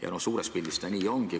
Eks see suures pildis nii ongi.